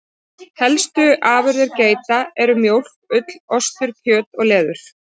Helstu afurðir geita eru mjólk, ull, ostur, kjöt og leður.